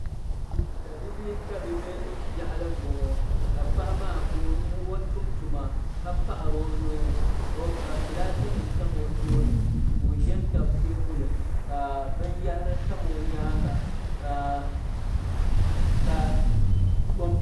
Tabibi tabibi yaɣili n bɔŋɔ. ka paɣa maa ka ɔ tumtuma. ka paɣiri ɔnuhi. ka gilasnim tam ɔ tooni, ka ɔʒɛn tabi teebuli, ka bin yahiri tam ɔ nyaaŋa ka com piuternim tamiya.